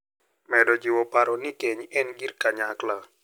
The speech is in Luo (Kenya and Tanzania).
Medo jiwo paro ni keny en gir kanyakla.